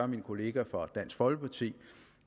min kollega fra dansk folkeparti